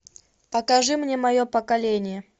покажи мне мое поколение